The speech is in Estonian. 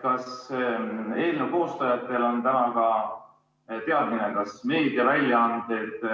Kas eelnõu koostajatel on täna ka teadmine, kas meediaväljaanded